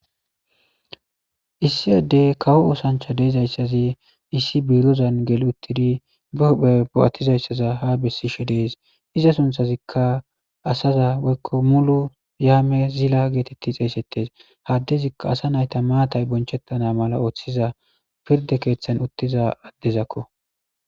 issi yoddey kawo oosancha deezayssazi issi biirozan gel uttidi bae bo'attizayssaza ha bessishe dees iza sunthazikka asaza woykko mulu yaame zila geetetti xeesettes haddezikka asa nayta maatay bonchettana mala ooththiza pirde keeththan uttiza addezakko.